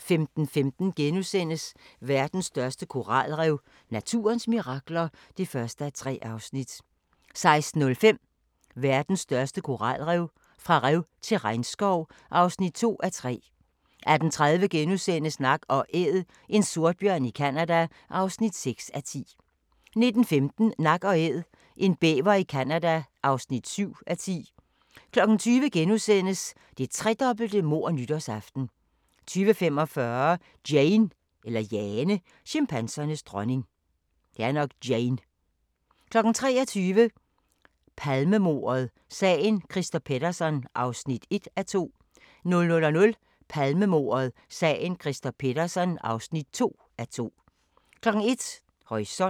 15:15: Verdens største koralrev – naturens mirakler (1:3)* 16:05: Verdens største koralrev – fra rev til regnskov (2:3) 18:30: Nak & Æd – en sortbjørn i Canada (6:10)* 19:15: Nak & Æd – en bæver i Canada (7:10) 20:00: Det tredobbelte mord nytårsaften * 20:45: Jane – chimpansernes dronning 23:00: Palmemordet: Sagen Christer Pettersson (1:2) 00:00: Palmemordet: Sagen Christer Pettersson (2:2) 01:00: Horisont